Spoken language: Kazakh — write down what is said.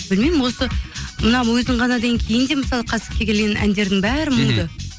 білмеймін осы мына өзің ғана деген кейін де мысалы келген әндердің бәрі мұңды